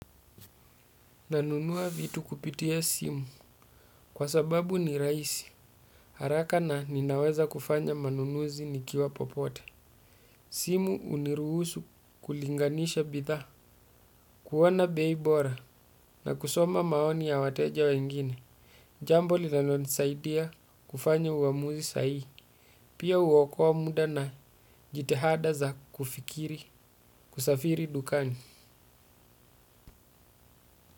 Nanunua vitu kupitia simu kwa sababu ni raisi. Haraka na ninaweza kufanya manunuzi nikiwa popote. Simu uniruhusu kulinganisha bidhaa, kuona beibora na kusoma maoni ya wateja wengine. Jambo li nanonisaidia kufanya uamuzi sahihi. Pia uokoa muda na jitihada za kufikiri kusafiri dukani.